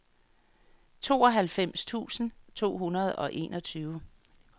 tooghalvfems tusind to hundrede og enogtyve